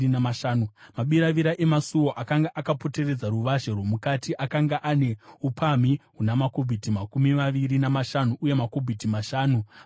Mabiravira emasuo akanga akapoteredza ruvazhe rwomukati akanga ane upamhi huna makubhiti makumi maviri namashanu uye makubhiti mashanu pakudzika.